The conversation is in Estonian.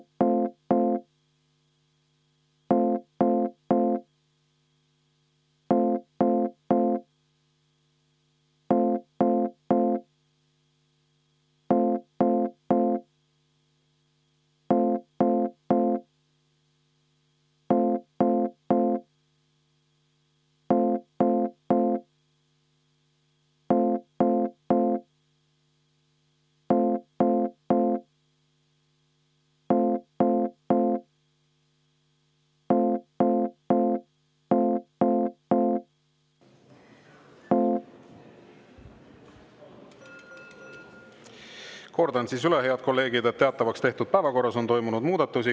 Kordan üle, head kolleegid, et teatavaks tehtud päevakorras on toimunud muudatusi.